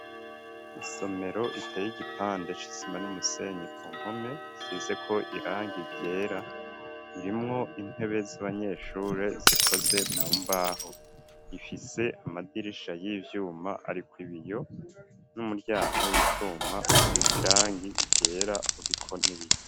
Isomero iteye igipande c'isima n'umusenyi, ku npome isizeko irangi ryera, irimwo intebe z'abanyeshuri zikoze mu mbaho ,ifise amadirisha y'ivyuma ariko ibiyo, n'umuryango w'icuma usize irangi ryera uriko n'ibiyo.